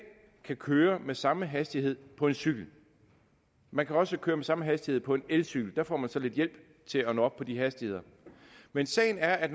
kan køre med samme hastighed på en cykel man kan også køre med samme hastighed på elcykel der får man så lidt hjælp til at nå op på de hastigheder men sagen er at